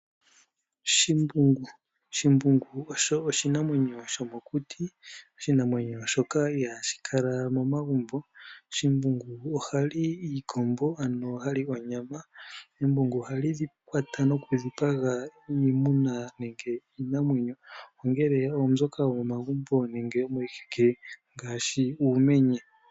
Shimbungu Shimbungu osho oshinamwenyo shomokuti oshinamwenyo shoka ihashi kala momagumbo. Shimbungu ohali iikombo ano ha li onyama, embungu ohali kwata nokudhipaga iimuna nenge iinamwenyo, ongele oombyoka yomomagumbo nenge miiheke ngaashi uumenye.